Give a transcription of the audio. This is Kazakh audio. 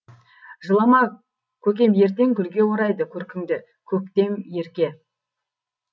жылама көкем ертең гүлге орайды көркіңді көктем ерке